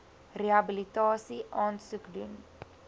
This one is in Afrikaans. rehabilitasie aansoek doen